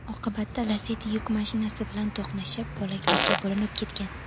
Oqibatda Lacetti yuk mashinasi bilan to‘qnashib, bo‘laklarga bo‘linib ketgan.